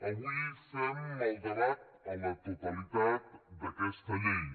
avui fem el debat a la totalitat d’aquesta llei